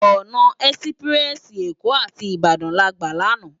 Òná èsipirèsi Ékó áti Ibadan lágbá làná